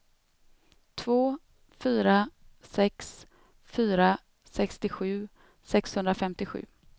två fyra sex fyra sextiosju sexhundrafemtiosju